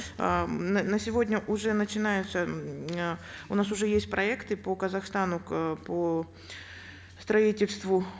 э на сегодня уже начинаются э у нас уже есть проекты по казахстану по строительству